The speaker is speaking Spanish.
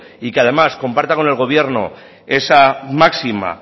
y que además comparta con el gobierno esa máxima